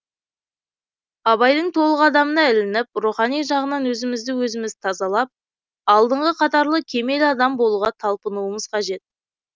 абайдың толық адамына ілініп рухани жағынан өзімізді өзіміз тазалап алдыңғы қатарлы кемел адам болуға талпынуымыз қажет